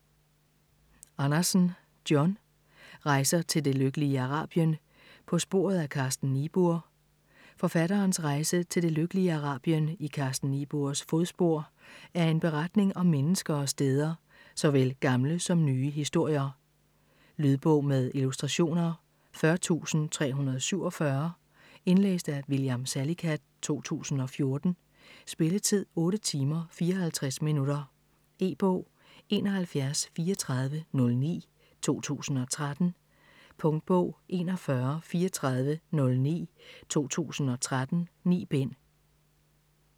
Andersen, John: Rejser til det lykkelige Arabien: på sporet af Carsten Niebuhr Forfatterens rejse til "det lykkelige Arabien" i Carsten Niebuhrs fodspor er en beretning om mennesker og steder - såvel gamle som nye historier. Lydbog med illustrationer 40347 Indlæst af William Salicath, 2014. Spilletid: 8 timer, 54 minutter. E-bog 713409 2013. Punktbog 413409 2013. 9 bind.